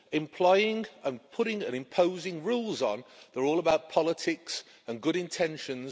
Employing and putting and imposing rules on they're all about politics and good intentions.